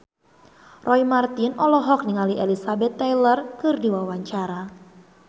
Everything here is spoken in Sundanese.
Roy Marten olohok ningali Elizabeth Taylor keur diwawancara